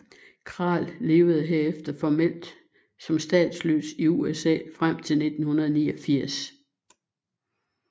Kral levede herefter formelt som statsløs i USA frem til 1989